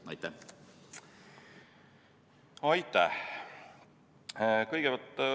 Aitäh!